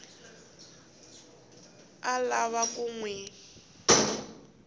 a lava ku n wi